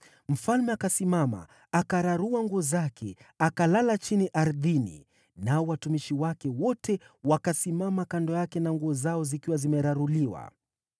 Mfalme akasimama, akararua nguo zake, akalala chini ardhini; nao watumishi wake wote wakasimama kando yake na nguo zao zikiwa zimeraruliwa.